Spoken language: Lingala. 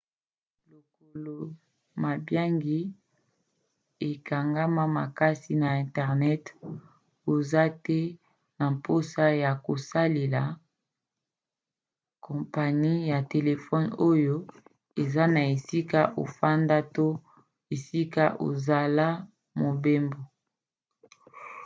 lokola mabiangi ekangama makasi na internet oza te na mposa ya kosalela kompani ya telefone oyo eza na esika ofandaka to esika ozosala mobembo